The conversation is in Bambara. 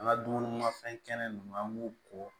An ka dumunimafɛn kɛnɛ ninnu an b'u ko